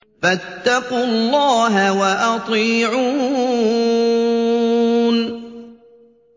فَاتَّقُوا اللَّهَ وَأَطِيعُونِ